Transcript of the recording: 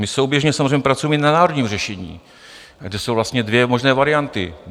My souběžně samozřejmě pracujeme i na národním řešení, kde jsou vlastně dvě možné varianty.